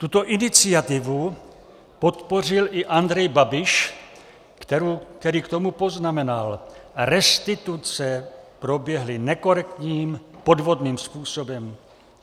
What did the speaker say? Tuto iniciativu podpořil i Andrej Babiš, který k tomu poznamenal: Restituce proběhly nekorektním, podvodným způsobem.